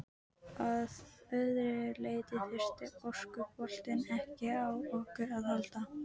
Að öðru leyti þurfti orkuboltinn ekki á okkur að halda.